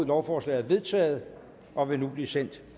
lovforslaget er vedtaget og vil nu blive sendt